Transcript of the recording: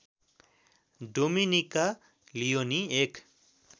Dominica Leoni एक